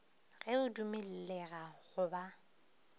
ge o dumellega go ba